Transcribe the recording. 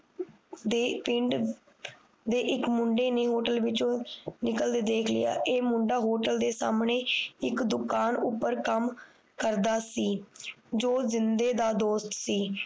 ਦੇ ਪਿੰਡ ਦੇ ਇਕ ਮੁੰਡੇ ਨੇ Hotel ਵਿੱਚੋ ਨਿਕਲਦੇ ਦੇਖ ਲਿਆ ਇਹ ਮੁੰਡਾ Hotel ਦੇ ਸਾਹਮਣੇ ਇਕ ਦੁਕਾਨ ਉਪਰ ਕੰਮ ਕਰਦਾ ਸੀ ਜੋ ਜਿੰਦੇ ਦਾ ਦੋਸਤ ਸੀ